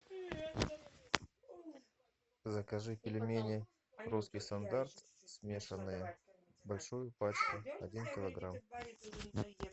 закажи пельмени русский стандарт смешанные большую пачку один килограмм